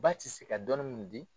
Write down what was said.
Ba tɛ se ka dɔnni min di